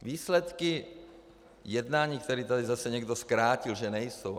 Výsledky jednání, které tady zase někdo zkrátil, že nejsou.